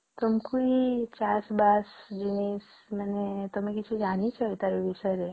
ତମକୁ ଏ ଚାଷ ବାସ ଏ ଜମି ମାନେ ତୁମେ କିଛି ଜାଣିଛ ତାର ବିଷୟରେ ?